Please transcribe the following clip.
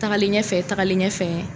Tagalen ɲɛfɛ tagalen ɲɛfɛ